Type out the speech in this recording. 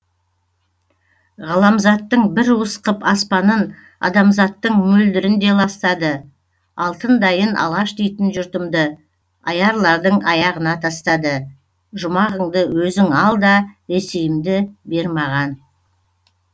ғаламзаттың бір уыс қып аспанын адамзаттың мөлдірін де ластады алтындайын алаш дейтін жұртымды аярлардың аяғына тастады жұмағыңды өзің ал да ресейімді бер маған